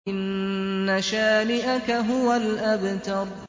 إِنَّ شَانِئَكَ هُوَ الْأَبْتَرُ